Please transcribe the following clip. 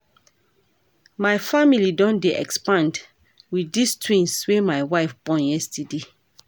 My family don dey expand wit dese twins wey my wife born yesterday.